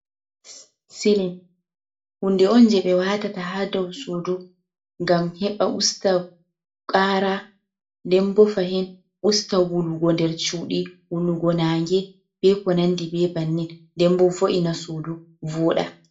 Silin hunde on je ɓe watata ha dau suudu ngam heɓa usta ƙara, nden bo fahin usta wulugo nder chuuɗi, wulugo nange be ko nandi be bannin. Nden bo vo’ina suudu vooɗa.